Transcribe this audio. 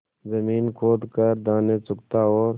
जमीन खोद कर दाने चुगता और